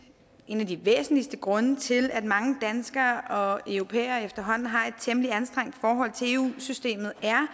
en af de væsentligste grunde til at mange danskere og europæere efterhånden har et temmelig anstrengt forhold til eu systemet er